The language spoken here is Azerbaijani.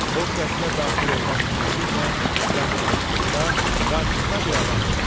O qəsrə daxil olmaq ümidi ilə yaxınlaşdıqda qarşısına bir adam çıxdı.